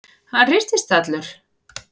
Hann hristist allur.